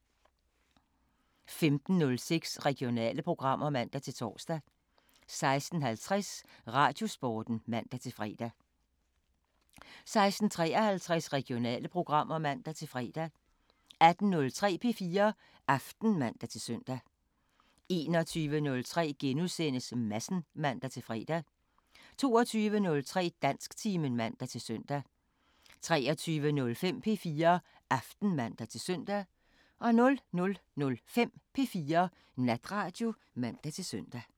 15:06: Regionale programmer (man-tor) 16:50: Radiosporten (man-fre) 16:53: Regionale programmer (man-fre) 18:03: P4 Aften (man-søn) 21:03: Madsen *(man-fre) 22:03: Dansktimen (man-søn) 23:05: P4 Aften (man-søn) 00:05: P4 Natradio (man-søn)